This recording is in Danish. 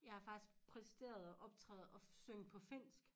Jeg har faktisk præsteret og optræde og synge på finsk